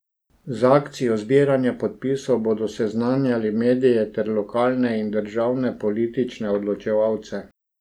Z akcijo zbiranja podpisov bodo seznanjali medije ter lokalne in državne politične odločevalce.